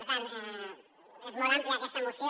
per tant és molt àmplia aquesta moció